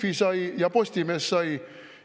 Delfi sai ja Postimees sai.